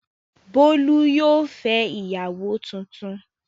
Bólú yóò fẹ́ ìyàwó tuntun.